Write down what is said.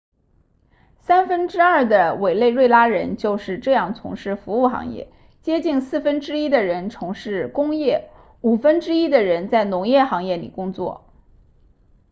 三分之二的委内瑞拉人就是这样从事服务行业接近四分之一的人从事工业五分之一的人在农业行业里工作